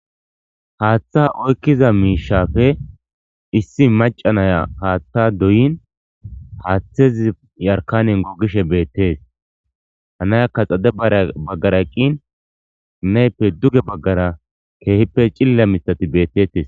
Haaththa oykkiza miishafe issi macanaya haaththa doyin, haaththezi yarkanen gogishe beettees. Ha nayaka xade baggara eqqin nayippe duge baggara keehippe cilila mithati beetetes.